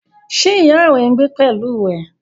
Ṣé ìyá rẹ ń gbé pẹ̀lú rẹ?